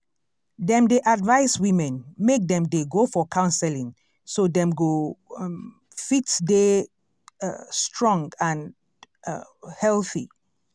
dem dey advise women make dem dey go for counseling so dem go um fit dey um strong and um healthy